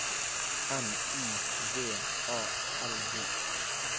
N Y V A L G